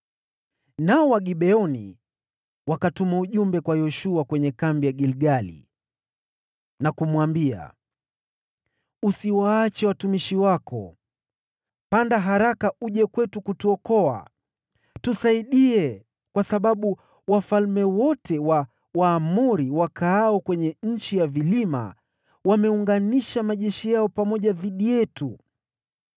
Nao Wagibeoni wakatuma ujumbe kwa Yoshua kwenye kambi ya Gilgali na kumwambia, “Usiwatelekeze watumishi wako. Panda haraka uje kwetu kutuokoa! Tusaidie, kwa sababu wafalme wote wa Waamori wakaao kwenye nchi ya vilima wameunganisha majeshi yao pamoja dhidi yetu.”